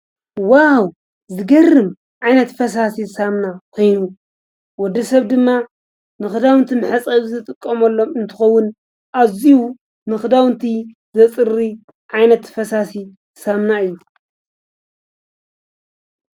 ዋው ዝገርም ዓይነት ፈሳሲ ሳምና ኮይኑ ወዲ ሰብ ድማ ምኽዳውንቲ ምሕፀዊ ዘጥቆም ሎም እንትኸዉን ኣዚዩ ምኽዳውንቲ ዘጽሪ ዓይነት ፈሳሲ ሳምና እዩ።